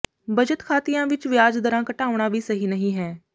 ਬਚਤ ਖਾਤਿਆਂ ਵਿੱਚ ਵਿਆਜ ਦਰਾਂ ਘਟਾਉਣਾ ਵੀ ਸਹੀ ਨਹੀਂ ਹੈ